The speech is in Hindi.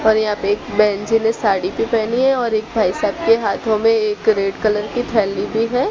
और यहां पे एक बहन जी ने साड़ी भी पहनी है और एक भाई साहब के हाथों में एक रेड कलर की थैली भी है।